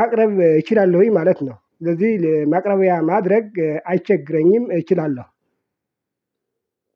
ማቅረብ እችላለሁኝ ማለት ነው። ስለዚህ ማቅረቢያ ማድረግ አይቸግረኝም እችላለሁ።